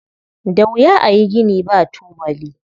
Da wuya a yi gini ba tubali.